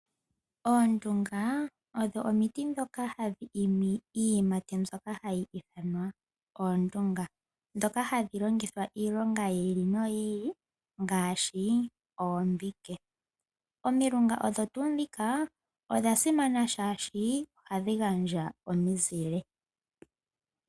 Omilunga odho omiti ndhoka hadhi imi iiyimati mbyoka hayi ithanwa oondunga ndhoka hadhi longithwa iilonga yi ili noyi ili ngaashi oombike. Omilunga odho tuu ndhika odha simana oshoka ohadhi gandja omizile.